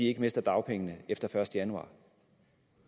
ikke mister dagpengene efter den første januar